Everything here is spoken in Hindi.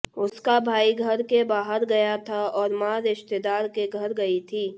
उसका भाई घर के बाहर गया था और मां रिश्तेदार के घर गई थी